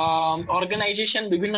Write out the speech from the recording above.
ଅଂ organisation ବିଭିନ୍ନ